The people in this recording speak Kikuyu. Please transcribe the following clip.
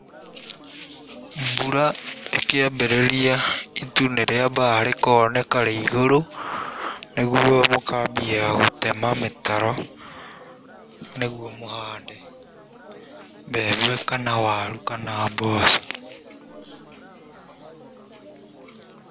Mbura ĩkĩambĩrĩria itu nĩ rĩambaga rĩkoneka rĩ igũrũ, nĩguo mũkambia gũtema mĩtaro, nĩguo mũhande mbembe kana waru na mboco.